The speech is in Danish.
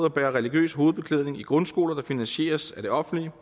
at bære religiøs hovedbeklædning i grundskoler der finansieres af det offentlige